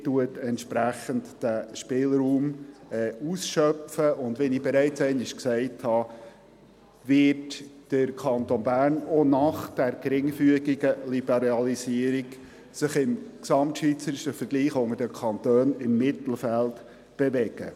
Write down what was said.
Man schöpft den Spielraum entsprechend aus, und wie ich bereits einmal gesagt habe, wird sich der Kanton Bern im gesamtschweizerischen Vergleich unter den Kantonen auch nach dieser geringfügigen Liberalisierung im Mittelfeld bewegen.